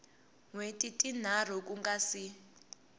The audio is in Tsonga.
wheti tinharhu ku nga si